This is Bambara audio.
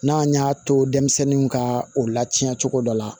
N'an y'a to denmisɛnninw ka o lacɛ cogo dɔ la